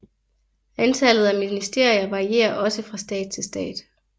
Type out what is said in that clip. Antallet af ministerier varierer også fra stat til stat